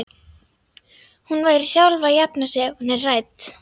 Hún verður sjálf að jafna sig ef hún er hrædd.